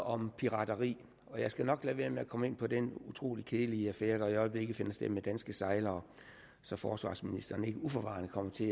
om pirateri og jeg skal nok lade være med at komme ind på den utrolig kedelige affære der i øjeblikket finder sted med danske sejlere så forsvarsministeren ikke uforvarende kommer til